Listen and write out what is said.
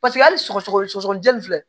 Paseke hali sɔgɔsɔgɔ sɔgɔsɔgɔninjɛ nin filɛ